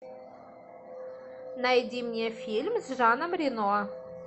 найди мне фильм с жаном рено